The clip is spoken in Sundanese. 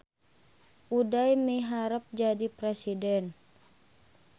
Uday miharep jadi presiden